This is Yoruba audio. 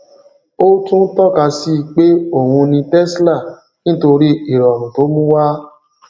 o tún tọka síi pé òun ní tesla nitori ìrọrùn to mùú wá